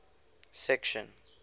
section